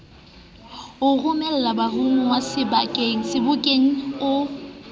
o romelang baromuwa sebokeng o